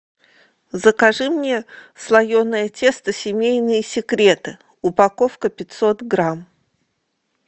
закажи мне слоеное тесто семейные секреты упаковка пятьсот грамм